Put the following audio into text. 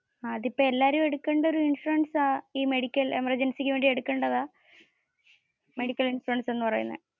അതിപോ എല്ലാരും എടുക്കേണ്ട ഒരു ഇൻഷുറൻസ് ആണ് ഈ മെഡിക്കൽ എമർജൻസിക്ക് വേണ്ടി എടുക്കേണ്ടതാ മെഡിക്കൽ ഇൻഷുറൻസ് എന്ന് പറയുന്നത്.